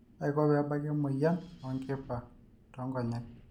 kaiko peebaki emoyian oonkipa too nkonyek